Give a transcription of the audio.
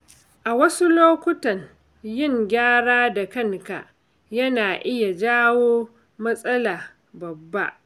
A wasu lokutan, yin gyara da kanka yana iya jawo matsala babba.